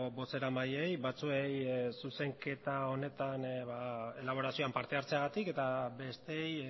bozeramaileei batzuei zuzenketa honetan elaborazioan parte hartzeagatik eta besteei